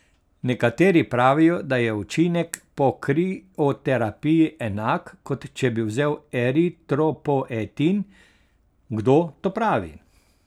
Nekateri pravijo, da je učinek po krioterapiji enak, kot če bi vzel eritropoietin, Kdo to pravi?